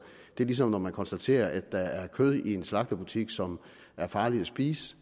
det er ligesom når man konstaterer at der er kød i en slagterbutik som er farligt at spise